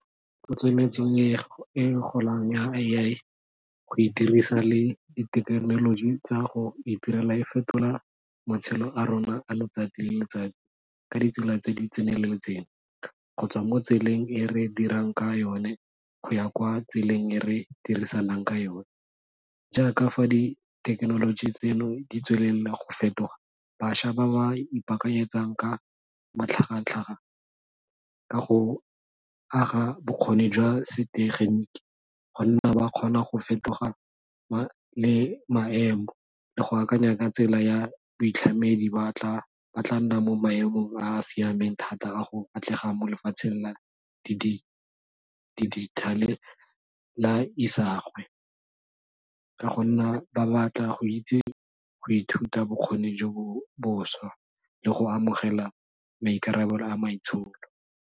Itsometseng e golang ya go e dirisa le dithekenoloji tsa go itirela e fetola matshelo a rona a letsatsi le letsatsi ka ditsela tse di tseneletseng, gotswa mo tseleng e re dirang ka yone go ya kwa tseleng e re dirisanang ka yone, jaaka fa dithekenoloji tseno di tswelela go fetoga bašwa ba ba ipaakanyetsang ka matlhagatlhaga ka go aga bokgoni jwa setegeniki gonna ba kgona go fetoga le maemo le go akanya ka tsela ya boitlhamedi ba tla nna mo maemong a a siameng thata a go atlega mo lefatsheng la dijithale la isagwe ka go nna ba batla go itse go ithuta bokgoni jo bo bošwa le go amogela maikarabelo a maitsholo.